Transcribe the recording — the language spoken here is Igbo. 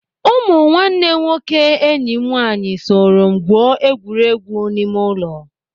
Ụmụ nwanne nwoke enyi m nwaanyị soro m gwuo egwuregwu ime ụlọ.